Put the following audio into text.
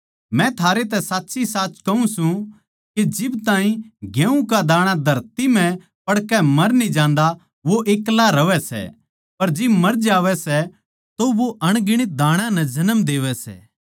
मै थारै तै साच्चीसाच कहूँ सूं के जिब ताहीं गेहूँ का दाणा धरती म्ह पड़कै मर न्ही जांदा वो एक्ला रहवै सै पर जिब मर जावै सै तो वो अनगणित दाणा नै जन्म देवै सै